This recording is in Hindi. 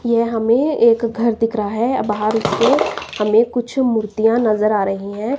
यह हमें एक घर दिख रहा है बाहर से हमें कुछ मूर्तियां नजर आ रही हैं।